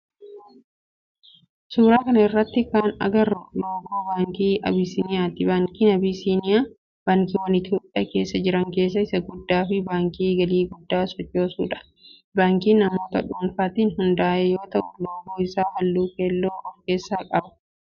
Suuraa kana irratti kan agarru loogoo baankii abisiniyaati. Baankiin Abisiniyaa baankiwwan itiyoophiyaa keessa jira keessaa isa guddaa fi baankii galii guddaa sochoosudha. Baankii namoota dhuunfaatin hunda'ee yoo ta'u loogoo isaa halluu keelloo of keessaa qaba.